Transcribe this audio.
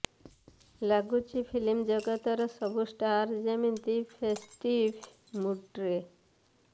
ଲାଗୁଛି ଫିଲ୍ମ ଜଗତର ସବୁ ଷ୍ଟାର ଯେମିତି ଫେଷ୍ଟିଭ୍ ମୁଡ୍ରେ